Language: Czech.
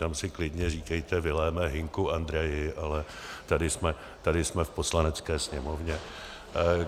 Tam si klidně říkejte Viléme, Hynku, Andreji, ale tady jsme v Poslanecké sněmovně.